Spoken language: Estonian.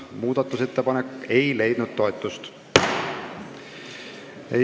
Muudatusettepanek ei leidnud toetust.